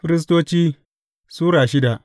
Firistoci Sura shida